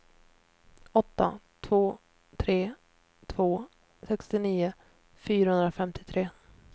åtta två tre två sextionio fyrahundrafemtiotre